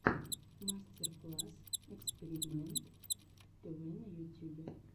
мастер класс экспиримэнт тв на ютюбе